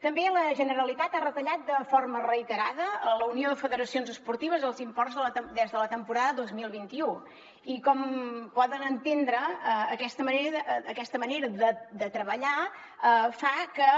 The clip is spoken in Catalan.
també la generalitat ha retallat de forma reiterada a la unió de federacions esportives els imports de la temporada dos mil vint u i com poden entendre aquesta manera de treballar fa que